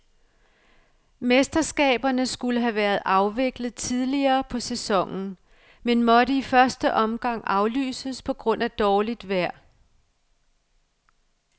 Mesterskaberne skulle have været afviklet tidligere på sæsonen, men måtte i første omgang aflyses på grund af dårligt vejr.